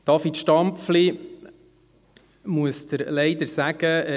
David Stampfli, ich muss Ihnen leider sagen: